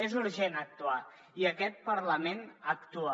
és urgent actuar i aquest parlament actua